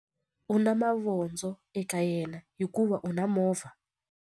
U na mavondzo eka yena hikuva u na movha.